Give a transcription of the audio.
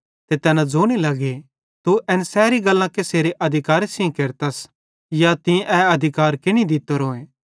ते तैना ज़ोने लगे तू एन सैरी गल्लां कसेरे अधिकारे सेइं केरतस या तीं ए अधिकारे केनि दित्तोरोए